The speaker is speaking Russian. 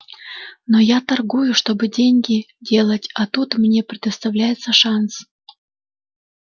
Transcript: но я торгую чтобы деньги делать а тут мне предоставляется шанс